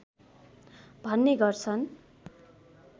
भन्ने गर्दछन्